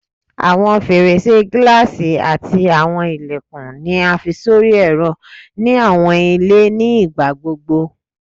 Awọn ferese gilasi ati awọn ilẹkun ni a fi sori ẹrọ ni awọn ile ni igbagbogbo